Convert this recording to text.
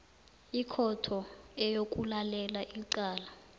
ikhotho eyokulalela icala